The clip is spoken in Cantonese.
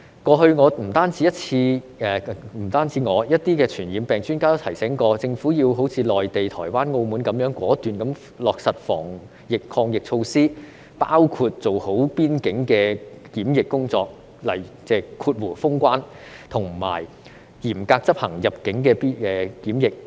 過去，不止我，還有一些傳染病專家也提醒政府要好像內地、台灣和澳門般果斷地落實防疫抗疫措施，包括做好邊境的檢疫工作和嚴格執行入境的檢疫。